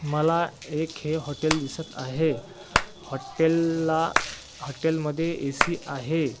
मला एक हे हॉटेल दिसत आहे हॉटेल ला हॉटेल मध्ये ए_सी आहे.